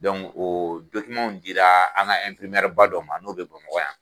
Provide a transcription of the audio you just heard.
o dira an ka ba dɔ ma n'o bɛ bamakɔ yan.